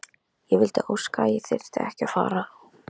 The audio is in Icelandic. Ég vildi óska að ég þyrfti ekki að fara.